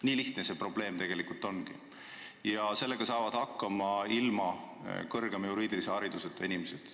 Nii lihtne see probleem tegelikult ongi ja sellega saavad hakkama ilma kõrgema juriidilise hariduseta inimesed.